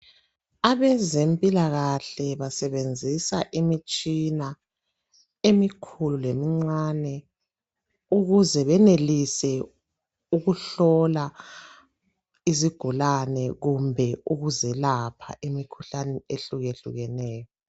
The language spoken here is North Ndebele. Abezempilakahle basebenzisa imitshina emikhulu lemincane. Ukuze benelise ukuhlola izigulane kumbe ukuzelapha imikhuhlane ehlukehlukeneyo .